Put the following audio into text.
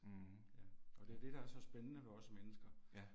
Mh, ja, ja. Ja